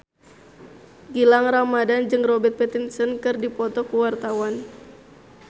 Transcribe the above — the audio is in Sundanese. Gilang Ramadan jeung Robert Pattinson keur dipoto ku wartawan